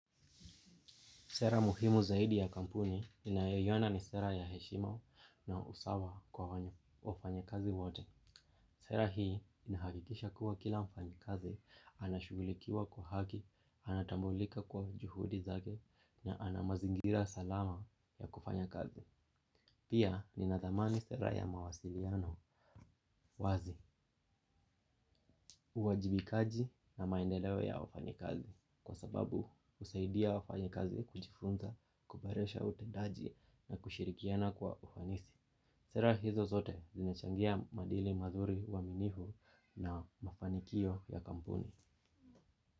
Sera muhimu zaidi ya kampuni ninayoiona ni sera ya heshima na usawa kwa wafanyakazi wote. Sera hii inahakikisha kuwa kila mfanyi kazi, anashugulikiwa kwa haki, anatambulika kwa juhudi zake na ana mazingira salama ya kufanya kazi. Pia ninathamani sera ya mawasiliano. Wazi, uwajibikaji na maendeleo ya wafanyikazi. Kwa sababu, usaidia wafanyikazi kujifunza, kuboresha utendaji na kushirikiana kwa ufanisi. Sera hizo zote zinachangia madili mazuri uwaminifu na mafanikio ya kampuni.